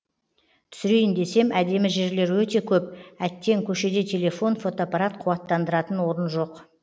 түсірейін десем әдемі жерлер өте көп әттең көшеде телефон фотоапарат қуаттандыратын орын жоқ